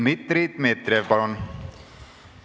Dmitri Dmitrijev, palun!